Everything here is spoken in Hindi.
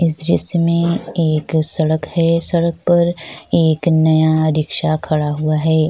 इस दिरीश मै एक सड़क है सड़क पर एक नया रिक्शा खड़ा हुआ है। --